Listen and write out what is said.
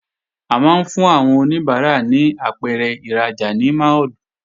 A máa ń fún àwọn oníbàárà ní apẹ̀rẹ̀ ìrajà ní máàlù